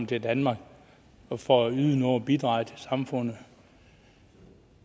til danmark for at yde noget og bidrage til samfundet